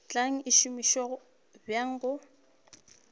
tla e šomiša bjang go